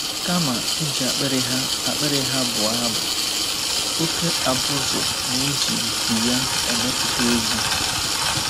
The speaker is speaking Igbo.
Kama iji akpịrị ha akpịrị ha bụọ abụ, oké abụzụ na-eji nku ya emepụta egwú.